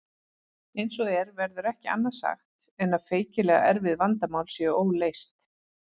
Eins og er verður ekki annað sagt en að feikilega erfið vandamál séu óleyst.